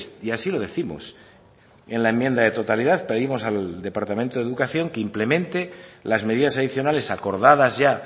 y así lo décimos y en la enmienda de totalidad pedimos al departamento de educación que implemente las medidas adicionales acordadas ya